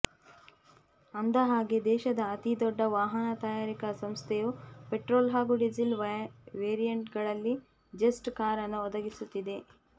ಅಂದ ಹಾಗೆ ದೇಶದ ಅತಿ ದೊಡ್ಡ ವಾಹನ ತಯಾರಿಕ ಸಂಸ್ಥೆಯು ಪೆಟ್ರೋಲ್ ಹಾಗೂ ಡೀಸೆಲ್ ವೆರಿಯಂಟ್ಗಳಲ್ಲಿ ಜೆಸ್ಟ್ ಕಾರನ್ನು ಒದಗಿಸುತ್ತಿದೆ